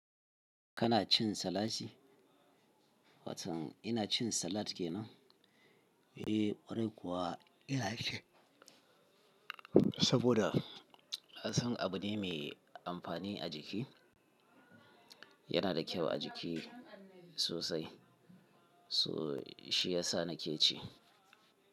Kana cin salasi? Watan ina cin salat kenan? Eh, kwarai kuwa ina ci saboda ka san abu ne mai amfani a jiki. Yana da kyau a jiki sosai, so shi ya sa na ke ci.